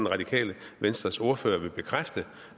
radikale venstres ordfører vil bekræfte